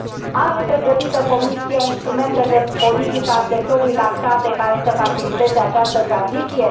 Are pregătite Comisia instrumente de politică a sectorului lactate, care să faciliteze această tranziție?